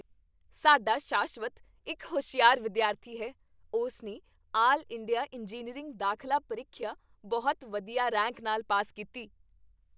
ਸਾਡਾ ਸ਼ਾਸ਼ਵਤ ਇੱਕ ਹੁਸ਼ਿਆਰ ਵਿਦਿਆਰਥੀ ਹੈ! ਉਸ ਨੇ ਆਲ ਇੰਡੀਆ ਇੰਜੀਨੀਅਰਿੰਗ ਦਾਖਲਾ ਪ੍ਰੀਖਿਆ ਬਹੁਤ ਵਧੀਆ ਰੈਂਕ ਨਾਲ ਪਾਸ ਕੀਤੀ।